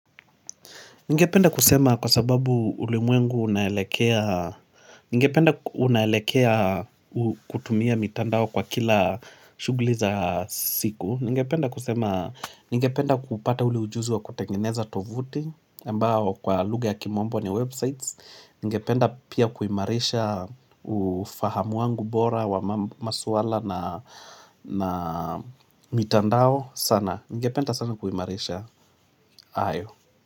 Ningependa kusema kwa sababu ulimwengu unaelekea unaelekea kutumia mitandao kwa kila shuguli za siku Ngependa kupata ule ujuzi wa kutengeneza tovuti ambao kwa lugha ya kimombo ni websites ningependa pia kuimarisha ufahamu wangu bora wa maswala na mitandao sana ningependa sana kuimarisha hayo.